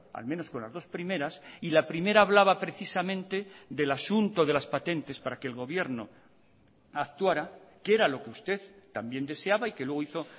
al menos con las dos primeras y la primera hablaba precisamente del asunto de las patentes para que el gobierno actuara que era lo que usted también deseaba y que luego hizo